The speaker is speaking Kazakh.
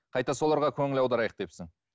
қайта соларға көңіл аударайық депсің